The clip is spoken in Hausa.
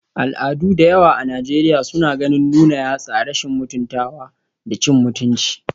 Al'adu da yawa a Najeriya suna ganin nuna yatsa rashin mutuntawa da cin mutunci